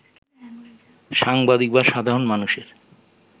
সাংবাদিক বা সাধারণ মানুষের